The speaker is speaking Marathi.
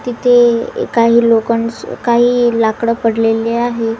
तिचे ए काही लोखंड काही लाकडं पडलेली आहे.